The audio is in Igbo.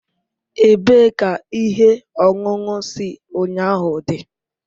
Ebee ka ihe ọṅụṅụ si ụnyahụ dị?